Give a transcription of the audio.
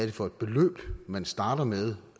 er for et beløb man starter med